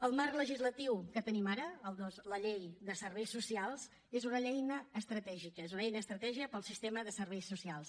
el marc legislatiu que tenim ara la llei de serveis socials és una eina estratègica és una eina estratègica per al sistema de serveis socials